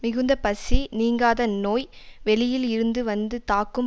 மிகுந்த பசி நீங்காத நோய் வெளியில் இருந்து வந்து தாக்கும்